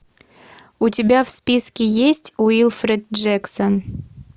у тебя в списке есть уилфред джексон